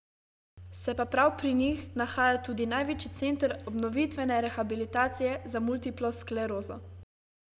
Se pa prav pri njih nahaja tudi največji Center obnovitvene rehabilitacije za multiplo sklerozo.